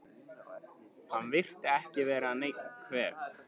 Hann virtist ekki vera nein kveif?